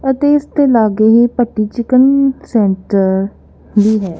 ਅਤੇ ਇਸ ਦੇ ਲਾਗੇ ਹੀ ਭੱਟੀ ਚਿਕਨ ਸੈਂਟਰ ਵੀ ਹੈ।